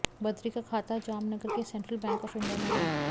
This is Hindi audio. बद्री का खाता जामनगर के सेंट्रल बैंक ऑफ इंडिया में है